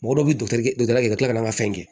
Mɔgɔ dɔ bɛ gala kɛ ka tila ka n'a ka fɛn kɛ